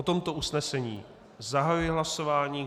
O tomto usnesení zahajuji hlasování.